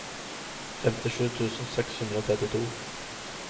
femtisju tusen seks hundre og trettito